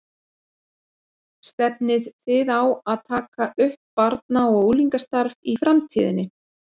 Stefnið þið á að taka upp barna og unglingastarf í framtíðinni?